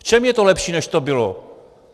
V čem je to lepší, než to bylo?